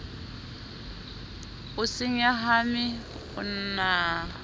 o se nyahame o na